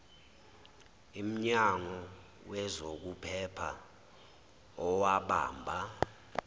imnyango wezokuphepha owabamba